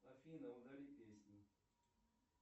афина удали песни